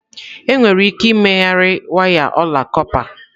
Enwere ike ịmegharị waya ọla kọpa.